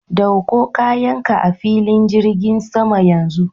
Dauko kayanka a filin jirgin sama yanzu.